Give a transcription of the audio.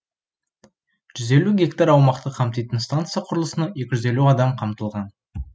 жүз елу гектар аумақты қамтитын станция құрылысына екі жүз елу адам қамтылған